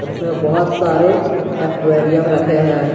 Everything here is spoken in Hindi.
इसमें बहुत सारे एक्वेरियम रखे हैं।